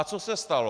A co se stalo?